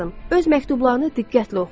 Öz məktublarını diqqətlə oxu.